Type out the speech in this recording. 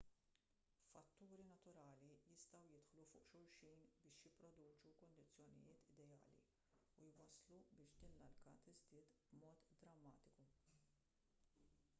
fatturi naturali jistgħu jidħlu fuq xulxin biex jipproduċu kundizzjonijiet ideali u jwasslu biex din l-alka tiżdied b'mod drammatiku